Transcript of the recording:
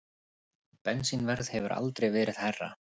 Bensínverð hefur aldrei verið hærra